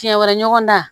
Fiɲɛ wɛrɛ ɲɔgɔn da